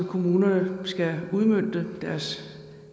kommunerne skal udmønte deres